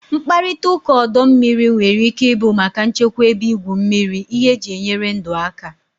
Mkparịta ụka ọdọ mmiri nwere ike ịbụ maka nchekwa ebe igwu mmiri, ihe eji enyere ndụ aka.